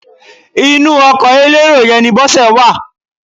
Inú ọkọ elérò yẹn ni Bọ́sẹ̀ wà.